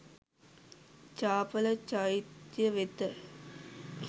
චාපල චෛත්‍ය වෙත